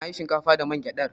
Na yi shinkafa da man gyadar.